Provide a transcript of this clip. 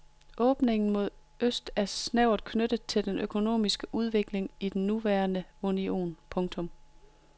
Åbningen mod øst er snævert knyttet til den økonomiske udvikling i den nuværende union. punktum